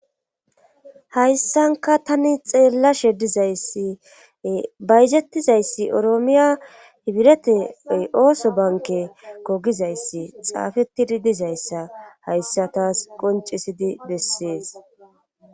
Hayssanka tani xeella she dizayssi bayjettizayssi oroomiya hibirete ooso banke kogizayssi xaafetidi dizayssa hayssa taas qoncisidi bessees